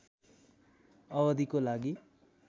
अवधिको लागि